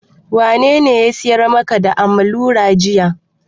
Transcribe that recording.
Wanene ya siyar maka da Amarula jiya?